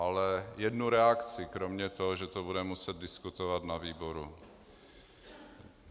Ale jednu reakci, kromě toho, že to budeme muset diskutovat na výboru.